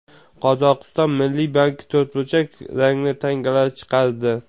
Qozog‘iston milliy banki to‘rtburchak rangli tangalar chiqardi.